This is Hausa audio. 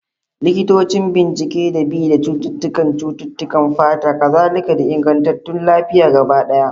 Likitocin bincike da bi da cututtukan cututtukan fata, kazalika da inganta lafiya gaba daya.